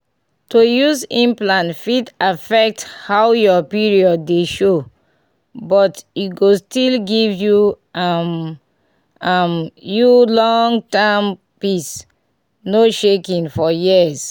to use implant fit affect how your period dey show — but e go still give um um you long-term peace no shaking for years.